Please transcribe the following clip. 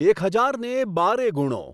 એક હજારને બારે ગુણો